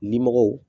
Limɔgɔw